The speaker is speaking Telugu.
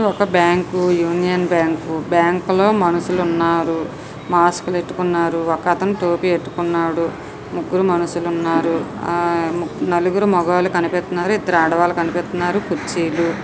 ఒక బ్యాంకు యూనియన్ బ్యాంకు బ్యాంకు లో మనుషులు ఉన్నారు మాస్క్ పెట్టుకున్నారు ఒక అతను టోపీ పెట్టుకున్నాడు ముగ్గురు మనుషులు ఉన్నారు నలుగురు మగవాళ్ళు కనిపిస్తున్నారు ఇద్దరు ఆడవాళ్ళు కనిపిస్తున్నారు కుర్చీలు.